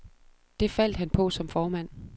Det faldt han på som formand.